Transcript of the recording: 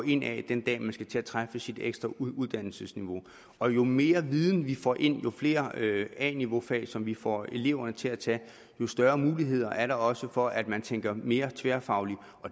ind ad den dag man skal til at træffe sit ekstra uddannelsesniveau og jo mere viden vi får ind jo flere a niveau fag som vi får eleverne til at tage jo større mulighederne er der også for at man tænker mere tværfagligt